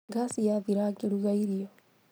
Ngasi yathira ngĩruga irio